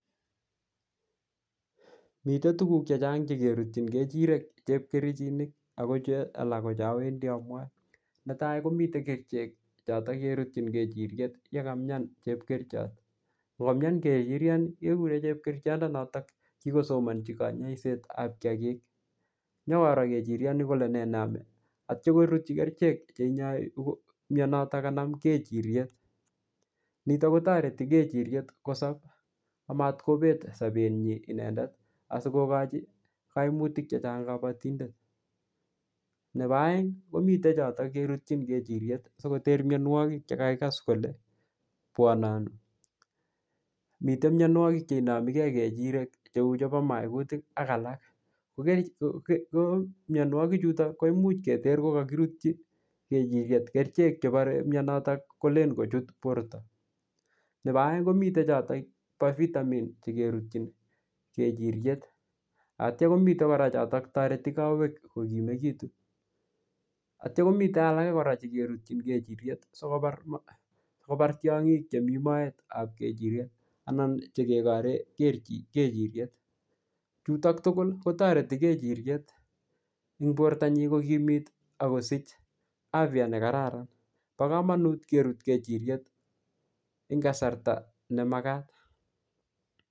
Mitei tuguk chechang che kerutchin kejirek chepkerichinik ako che alak ko che awendi amwae. Netai komitei kerichek chotok kerutchin kejiriek yekamyan chepkerichot. Ko komyan kejiriet, kekure chepkerichondo notok kikosomanchi kanyaisetab kiyagik. Nyikoro kejiriet ni kole nee neame. Atya korutchi kerichek che inyai mianotok kanam kejiriet. Nitok kotoreti kejiriet kosob amatkobet sabet nyii inendet, asikokochi kaimutik chechang kabatindet. Nebo aeng, komite chotok kerutchin kejiriet sikoter mianwogik che kakikas kole bwananu. Mitei mianwogik che inamigei kejirek cheu chebo maikutik ak alak. Ko um mianwogik chutoch, koimuch keter kokakirutchi kerichek chebare mianotok kolen kochut borto. Nebo aeng komite chotok bo vitamin che kerutchin kejiriet. Atya komite kora chotok toreti kowek kokimekitu. Atya komite alake kora che kerutchin kejiriet sikobar sikobar tiong'ik chemii moetab kejiriet, anan che kekore keji-kejiriet. Chutok tugul, kotoreti kejiriet eng borto nyi kokimit akosich afya ne kararan. Bo komonut kerut kejiriet eng kasarta ne magat.